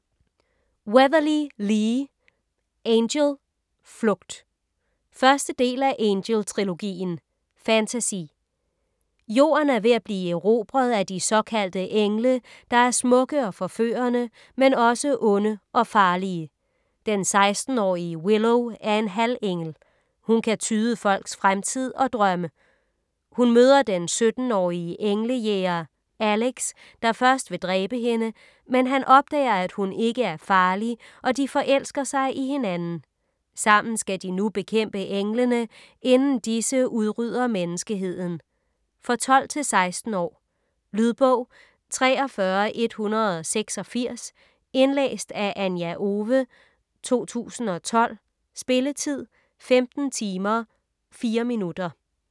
Weatherly, Lee: Angel - flugt 1. del af Angel-trilogien. Fantasy. Jorden er ved at blive erobret af de såkaldte engle, der er smukke og forførende - men også onde og farlige. Den 16-årige Willow er en halvengel. Hun kan tyde folks fremtid og drømme. Hun møder den 17-årige engle-jæger Alex, der først vil dræbe hende. Men han opdager, at hun ikke er farlig, og de forelsker sig i hinanden. Sammen skal de nu bekæmpe englene, inden disse udrydder menneskeheden. For 12-16 år. Lydbog 43186 Indlæst af Anja Owe, 2012. Spilletid: 15 timer, 4 minutter.